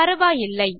பரவாயில்லை